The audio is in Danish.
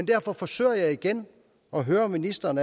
derfor forsøger jeg igen at høre ministeren